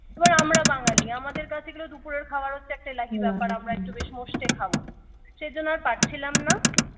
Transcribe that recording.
এবার আমরা বাঙালি আমাদের কাছে এগুলো দুপুরের খাবার হচ্ছে একটা এলাহী ব্যাপার আমরা একটু বেশ মোস্টে খাবো সেজন্য আর পাচ্ছিলাম না